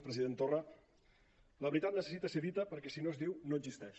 president torra la veritat necessita ser dita perquè si no es diu no existeix